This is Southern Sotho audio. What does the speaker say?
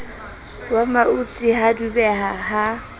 wa mautse ha dubeha ha